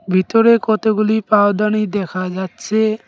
ভিতরে কতগুলি পাওদানি দেখা যাচ্ছে।